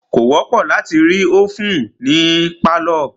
Kò wọ́pọ̀ láti rí ovèn ní pálọ̀.